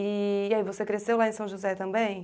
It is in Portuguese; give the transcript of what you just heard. E aí, você cresceu lá em São José também?